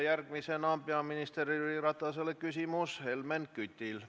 Järgmisena on peaminister Jüri Ratasele küsimus Helmen Kütil.